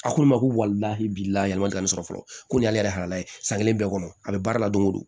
A ko ne ma k'u walila e bi lahala ma joli ka nin sɔrɔ fɔlɔ ko nin y'ale yɛrɛ halala ye san kelen bɛɛ kɔnɔ a be baara la don go don